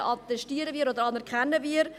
Das anerkennen wir.